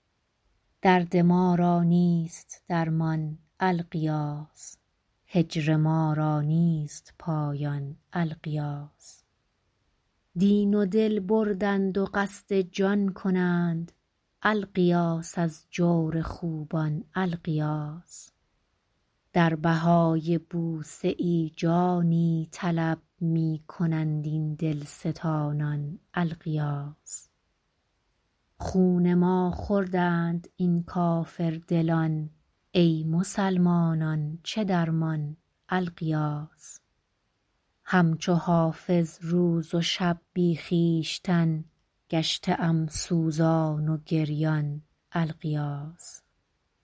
درد ما را نیست درمان الغیاث هجر ما را نیست پایان الغیاث دین و دل بردند و قصد جان کنند الغیاث از جور خوبان الغیاث در بهای بوسه ای جانی طلب می کنند این دلستانان الغیاث خون ما خوردند این کافردلان ای مسلمانان چه درمان الغیاث هم چو حافظ روز و شب بی خویشتن گشته ام سوزان و گریان الغیاث